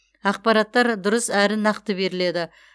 ақпараттар дұрыс әрі нақты беріледі